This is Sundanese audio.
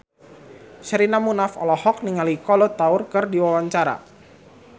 Sherina Munaf olohok ningali Kolo Taure keur diwawancara